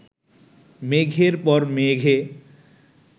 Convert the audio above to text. মেঘের পর মেঘে